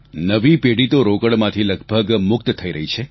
નવી પેઢી તો રોકડમાંથી લગભગ મુક્ત થઈ રહી છે